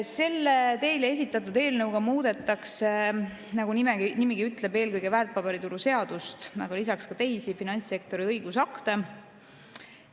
Selle teile esitatud eelnõuga muudetakse, nagu nimigi ütleb, eelkõige väärtpaberituru seadust, aga lisaks ka teisi finantssektori õigusakte.